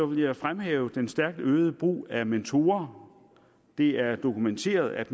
vil jeg fremhæve den stærkt øgede brug af mentorer det er dokumenteret at